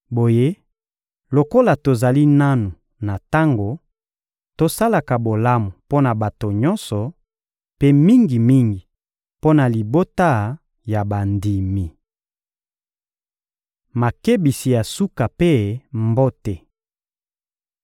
Boye, lokola tozali nanu na tango, tosalaka bolamu mpo na bato nyonso, mpe mingi-mingi mpo na libota ya bandimi. Makebisi ya suka mpe mbote